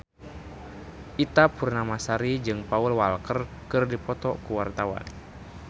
Ita Purnamasari jeung Paul Walker keur dipoto ku wartawan